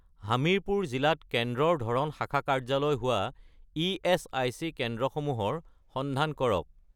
হামিৰপুৰ জিলাত কেন্দ্ৰৰ ধৰণ শাখা কাৰ্যালয় হোৱা ইএচআইচি কেন্দ্ৰসমূহৰ সন্ধান কৰক